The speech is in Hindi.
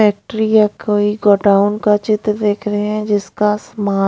फैक्ट्री है कोई गोडाउन का चित्र देख रहे हैं जिसका समा--